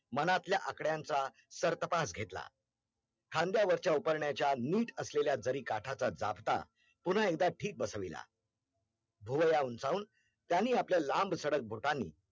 खांद्यावरच्या उपेर्ण्याचा निट असलेल्या दरी काठाचा दाबता पुन्हा एकदा ठीक बसविलेला भोवळ्या उंचाऊन त्यांनी आपल्या लांब सडक बोटांनी